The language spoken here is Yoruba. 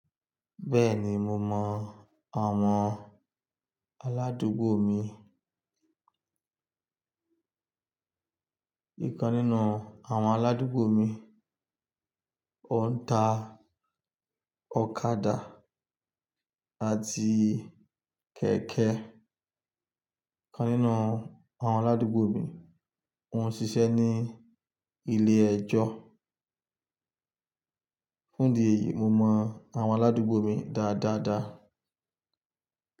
Bẹ́ẹ̀ni mo mọ àwọn aládùúgbò mi. Nìkan nínú àwọn aládùúgbò mi, òǹtà, ọ̀kadà àti kẹ̀kẹ́. Nìkan nínú àwọn aládùúgbò mi, wọ́n ń ṣiṣẹ́ ní ilé ẹjọ́. Fún ìdí èyí, mo mọ àwọn aládùúgbò mi dáadáa.